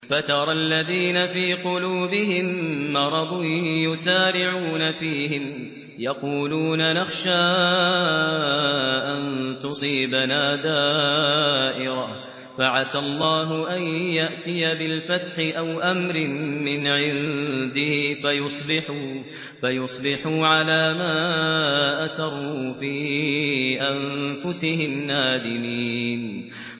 فَتَرَى الَّذِينَ فِي قُلُوبِهِم مَّرَضٌ يُسَارِعُونَ فِيهِمْ يَقُولُونَ نَخْشَىٰ أَن تُصِيبَنَا دَائِرَةٌ ۚ فَعَسَى اللَّهُ أَن يَأْتِيَ بِالْفَتْحِ أَوْ أَمْرٍ مِّنْ عِندِهِ فَيُصْبِحُوا عَلَىٰ مَا أَسَرُّوا فِي أَنفُسِهِمْ نَادِمِينَ